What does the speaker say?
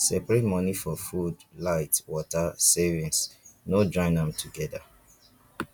separate money for food light water savings no join am together